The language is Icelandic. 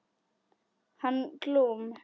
Hann Glúm.